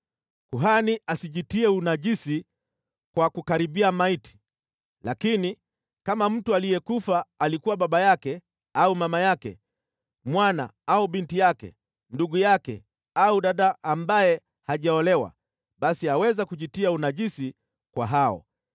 “ ‘Kuhani asijitie unajisi kwa kukaribia maiti, lakini, kama mtu aliyekufa alikuwa baba yake au mama yake, mwana au binti yake, ndugu yake au dada ambaye hajaolewa, basi aweza kujitia unajisi kwa hao.